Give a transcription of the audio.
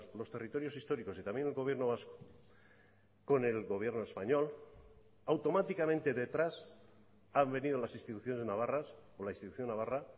los territorios históricos y también el gobierno vasco con el gobierno español automáticamente detrás han venido las instituciones navarras o la institución navarra